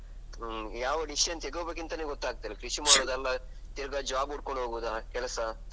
ಹ್ಮ್ ಯಾವ decision ತೇಗೋಬೇಕಂತನೆ ಗೊತ್ತಾಗ್ತಾ ಇಲ್ಲ. ಕೃಷಿ ಮಾಡುದ ಅಲ್ಲ ಈಗ job ಹುಡ್ಕೊಂಡೋಗೋದಾ ಕೆಲಸ.